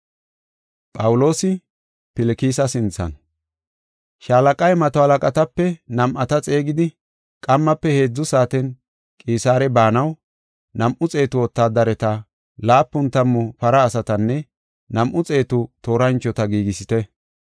Shaalaqay mato halaqatape nam7ata xeegidi, “Qammafe heedzu saaten Qisaare baanaw, nam7u xeetu wotaadareta, laapun tammu para asatanne nam7u xeetu tooranchota giigisite.